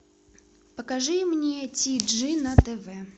покажи мне ти джи на тв